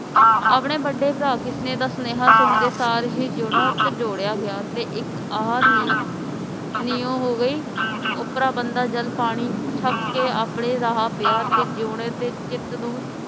ਆਪਣੇ ਬੜੇ ਭਰਾ ਕਿਸਨੇ ਦਾ ਸਨੇਹਾ ਸੁਨ ਦੇ ਸਰ ਹੀ ਜਿਯੋਨਾ ਚਣਚੋਡੀਆ ਗਿਆ ਤੇ ਇਕ ਆਹ ਨਿਯੋ ਹੋ ਗਈ ਓਪਰਾ ਬੰਦਾ ਜਦ ਪਾਣੀ ਛਕ ਕੇ ਆਪਣੇ ਰਾਹ ਪਿਆ ਤੇ ਜਯੋਨੇ ਦੇ ਚਿਤ ਨੂੰ